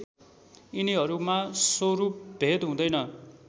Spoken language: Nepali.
यिनीहरूमा स्वरूपभेद हुँदैन